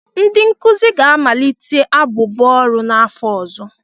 Ndị nkuzi ga-amalitekwa abụbọ ọrụ n'afọ ọzọ.